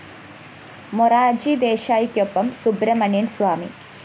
മൊറാര്‍ജി ദേശായിക്കൊപ്പം സുബ്രഹ്മണ്യന്‍ സ്വാമി